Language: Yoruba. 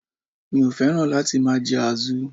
Mi ò féràn láti máa je àzu